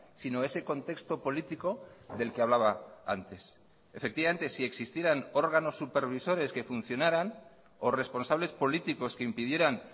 sino ese contexto político del que hablaba antes efectivamente si existieran órganos supervisores que funcionaran o responsables políticos que impidieran